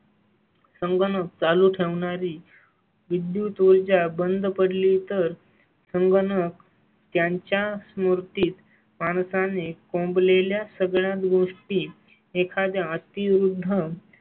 संगणक चालू ठेवणारी विद्युत ऊर्जा बंद पडली तर संगणक त्यांच्या स्मॄतीत माणसा ने कोंब लेल्या सगळ्या गोष्टी एखाद्या अति वृद्ध